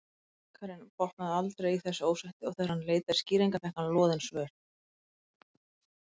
Bakarinn botnaði aldrei í þessu ósætti og þegar hann leitaði skýringa fékk hann loðin svör.